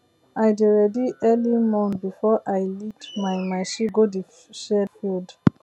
i dey ready early morn before i lead my my sheep go the shared field